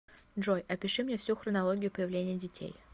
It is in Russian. джой опиши мне всю хронологию появления детей